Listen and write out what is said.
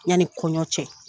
Yanni kɔɲɔ cɛ.